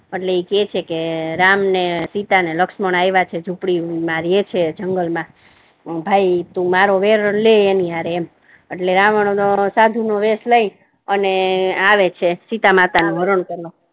એટલે કે છે કે રામ ને સીતા અને લક્ષ્મણ આવેલા છે ઝુપડી મા રહે છે જંગલ મા ભાઈ તુ મારો વેરણ લે એની હારે એમ રાવણ સાધુ નો વેશ લઈ અને આવે છે સીતામાતા નુ હરણ કરવા